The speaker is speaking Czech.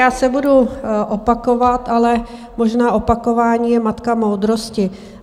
Já se budu opakovat, ale možná opakování je matka moudrosti.